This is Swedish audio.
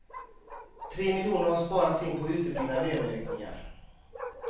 Tre miljoner har sparats in på uteblivna löneökningar.